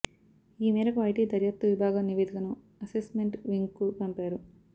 ఈ మేరకు ఐటీ దర్యాప్తు విభాగం నివేదికను అసెస్మెంట్ వింగ్కు పంపారు